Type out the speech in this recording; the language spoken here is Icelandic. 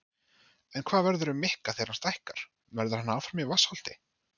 En hvað verður um Mikka þegar hann stækkar, verður hann áfram í Vatnsholti?